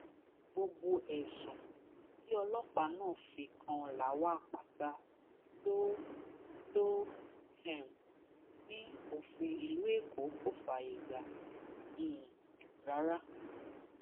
gbogbo ẹsùn tí ọlọpàá náà fi kan lawal pata ló ló um ní òfin ìlú èkó kò fààyè gbà um rárá